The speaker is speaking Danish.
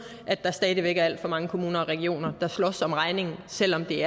at der stadig væk er alt for mange kommuner og regioner der slås om regningen selv om det